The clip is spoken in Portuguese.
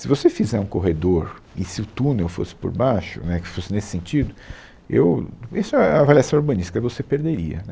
Se você fizer um corredor e se o túnel fosse por baixo, né, que fosse nesse sentido, eu, isso é é avaliação urbanística, você perderia né